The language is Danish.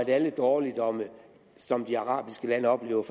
alle dårligdomme som de arabiske lande oplever